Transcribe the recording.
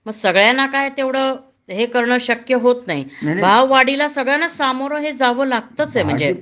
मग सगळ्यांना काय तेवढं हे कारण शक्य होत नाही भाव वाढीला सगळयांना सामोरं हे जावं लागतच आहे म्हणजे